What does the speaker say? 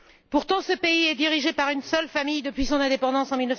Pourtant, le Qatar est dirigé par une seule famille depuis son indépendance en